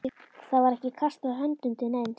Það var ekki kastað höndum til neins.